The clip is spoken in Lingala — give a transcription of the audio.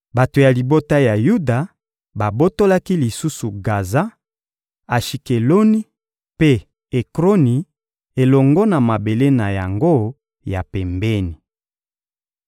Bato ya libota ya Yuda babotolaki lisusu Gaza, Ashikeloni mpe Ekroni, elongo na mabele na yango ya pembeni.